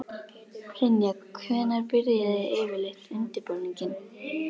Elín Margrét Böðvarsdóttir: Er eitthvað einfalt svar við þeirri spurningu?